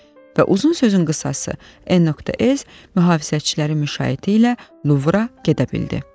Və uzun sözün qısası, N.S. mühafizəçiləri müşayiəti ilə Luvra gedə bildi.